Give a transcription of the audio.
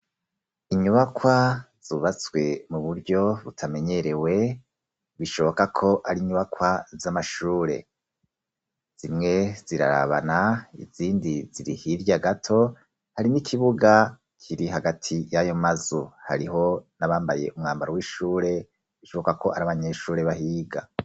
Inyubakwa zubatswe mu buryo butamenyerewe, bishoboka ko ari inyubakwa z'amashure. Zimwe zirarabana, izindi ziri hirya gato, hari n'ikibuga kiri hagati y'ayo mazu. Hariho n'abambaye umwambaro w'ishure, bishoboka ko ari abanyeshure bahiga.